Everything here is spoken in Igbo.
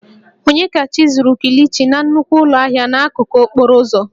Onyedikachi zuru kilichi na nnukwu ụlọ ahịa n'akụkụ okporo ụzọ